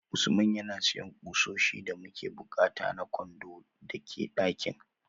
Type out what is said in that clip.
Usman yana siyan kusoshi da muke bukata na kwandon da ke dakin